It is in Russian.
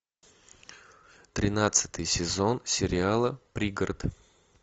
тринадцатый сезон сериала пригород